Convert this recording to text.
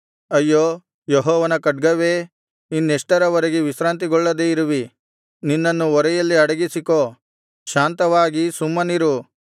ಅಯ್ಯೋ ಯೆಹೋವನ ಖಡ್ಗವೇ ಇನ್ನೆಷ್ಟರವರೆಗೆ ವಿಶ್ರಾಂತಿಗೊಳ್ಳದೆ ಇರುವಿ ನಿನ್ನನ್ನು ಒರೆಯಲ್ಲಿ ಅಡಗಿಸಿಕೋ ಶಾಂತವಾಗಿ ಸುಮ್ಮನಿರು